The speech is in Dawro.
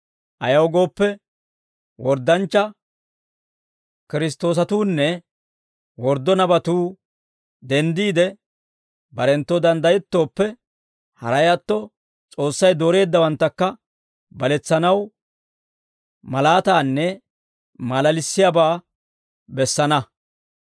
Ayaw gooppe, worddanchcha Kiristtoosatuunne worddo nabatuu denddiide barenttoo danddayettooppe, haray atto S'oossay dooreeddawanttakka baletsanaw malaataanne maalalissiyaabaa bessana.